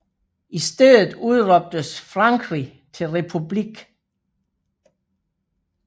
I stedet udråbtes Frankrig til republik